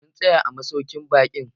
Mu tsaya a masaukin baƙin